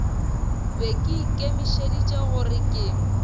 be ke ikemišeditše gore ke